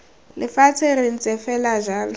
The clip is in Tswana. lefatshe re ntse fela jalo